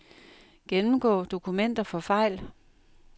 Gennemgå dokumenter for fejl.